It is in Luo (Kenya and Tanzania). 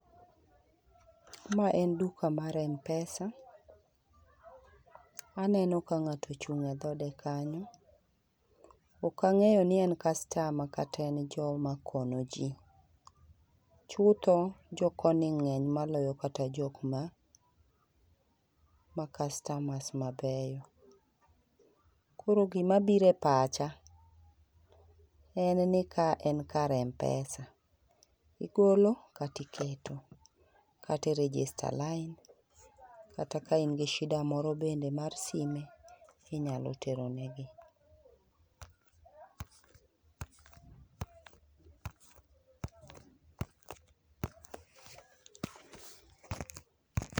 Ma en duka mar Mpesa. Aneno ka ng'ato ochung' e dhode kanyo. Ok ang'eyo ni en customer kata en joma konyo ji. Chutho, jo koni ng'eny maloyo kata jok ma ma customers mabeyo. Koro gima biro e pacha en ni ka en kar Mpesa, igolo kata iketo, kata i register lain kata ka in gi shida moro bende mar sime, inyalo tero ne gi.